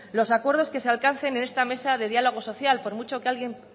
los acuerdos que se alcancen en esta mesa de diálogo social por mucho que